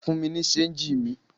Fún mi ní ṣéńjì mi!